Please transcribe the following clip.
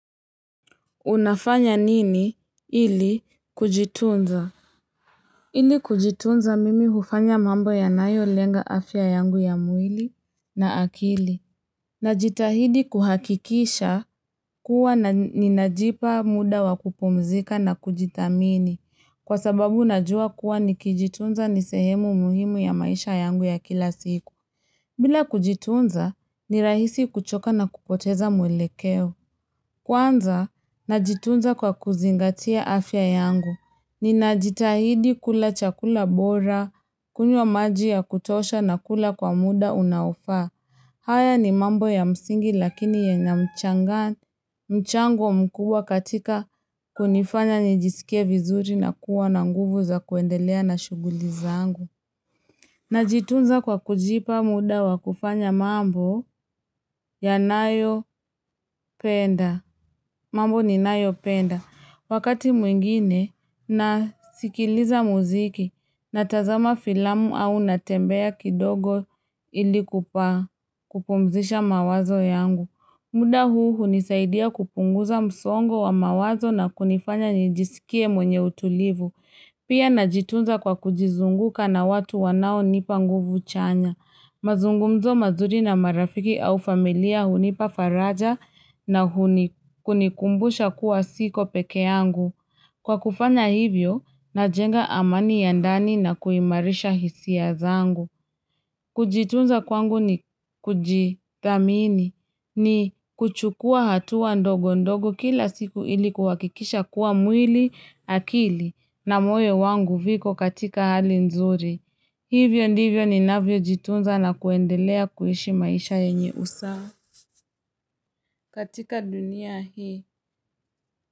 Unafanya nini ili kujitunza? Ili kujitunza mimi hufanya mambo yanayo lenga afya yangu ya mwili na akili. Najitahidi kuhakikisha kuwa na ninajipa muda wa kupumzika na kujithamini. Kwa sababu najua kuwa nikijitunza ni sehemu muhimu ya maisha yangu ya kila siku. Bila kujitunza ni rahisi kuchoka na kupoteza mwelekeo. Kwanza, najitunza kwa kuzingatia afya yangu. Ninajitahidi kula chakula bora, kunywa maji ya kutosha na kula kwa muda unaofaa. Haya ni mambo ya msingi lakini yenye mchango mkubwa katika kunifanya nijisikie vizuri na kuwa na nguvu za kuendelea na shughuli zangu. Najitunza kwa kujipa muda wa kufanya mambo yanayopenda mambo ninayopenda. Wakati mwingine nasikiliza muziki natazama filamu au natembea kidogo ili kupa kupumzisha mawazo yangu. Muda huu hunisaidia kupunguza msongo wa mawazo na kunifanya nijisikie mwenye utulivu. Pia najitunza kwa kujizunguka na watu wanaonipa nguvu chanya. Mazungumzo mazuri na marafiki au familia hunipa faraja na huni kunikumbusha kuwa siko pekee yangu. Kwa kufanya hivyo, najenga amani ya ndani na kuimarisha hisia zangu. Kujitunza kwangu ni kujithamini, ni kuchukua hatua ndogo ndogo kila siku ili kuhakikisha kuwa mwili, akili na moyo wangu viko katika hali nzuri. Hivyo ndivyo ninavyojitunza na kuendelea kuishi maisha yenye usa katika dunia hii.